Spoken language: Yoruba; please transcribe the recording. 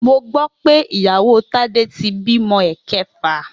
Mo gbó̩ pé ìyàwó Tádé ti bímo̩ è̩ke̩fà